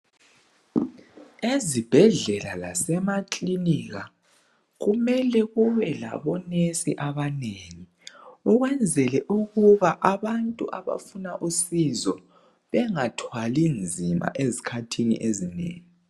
Ezibhedlela lasemakilinika kumele kube labonesi abanengi ukwenzela ukuba abantu abafuna usizo bengathwali nzima ezikhathini ezinengi